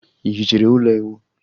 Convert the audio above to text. Ị hichere ụlọ ịwụ?